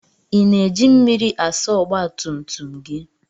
I na-eji mmiri asa ọgba tum tum gị?